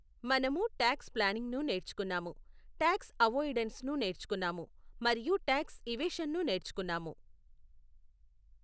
మనము టాక్స్ ప్లానింగ్ను నేర్చుకున్నాము, టాక్స్ అవొఇడెన్స్ను నేర్చుకున్నాము, మరియు టాక్స్ ఇవేషన్ను నేర్చుకున్నాము.